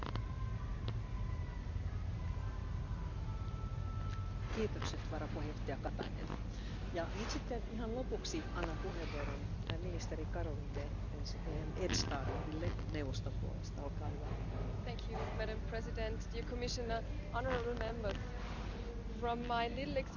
Denn es geht um nichts Geringeres als um eine der größten Bedrohungen, mit denen wir derzeit konfrontiert sind. Präsident Juncker hat heute Vormittag in seiner Rede zur Lage der Union darauf hingewiesen, dass nur ein starkes und geeintes Europa seine Bürgerinnen und Bürger gegen Bedrohungen von innen und außen schützen kann von Terrorismus bis zum Klimawandel, wie er sagte. Ich möchte hier ergänzen und betonen, dass es dieses gemeinsame